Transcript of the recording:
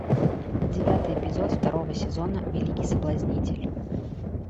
девятый эпизод второго сезона великий соблазнитель